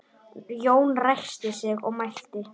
Jón ræskti sig og mælti